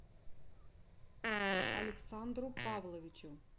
александру павловичу